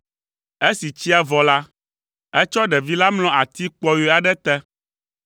Esi tsia vɔ la, etsɔ ɖevi la mlɔ ati kpɔyɔe aɖe te,